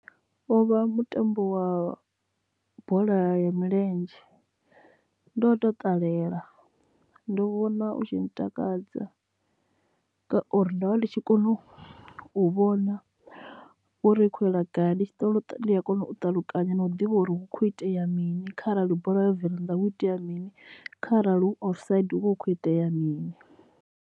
Uvha mutambo wa bola ya milenzhe ndo tou ṱalela ndo vhona u tshi ntakadza ngauri ndovha ndi tshi kona u u vhona uri ukho yela gayi ndi tshi ndi a kona u ṱalukanya na u ḓivha uri hu kho itea mini kharali bola ya bvela nnḓa hu itea mini kharali hu offside hu vha hu khou itea mini